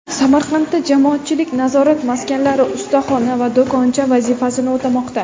Samarqandda jamoatchilik nazorat maskanlari ustaxona va do‘koncha vazifasini o‘tamoqda.